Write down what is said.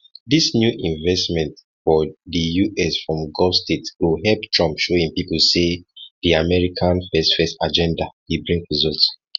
dis new investments for di us from gulf states go help trump to show im pipo say di america first first agenda dey bring results